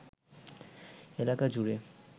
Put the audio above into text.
এলাকা জুড়ে